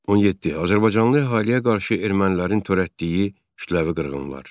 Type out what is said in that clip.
17. Azərbaycanlı əhaliyə qarşı ermənilərin törətdiyi kütləvi qırğınlar.